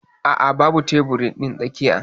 A'a babu tebur din tsakiyar.